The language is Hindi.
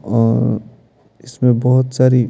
और इसमें बहुत सारी --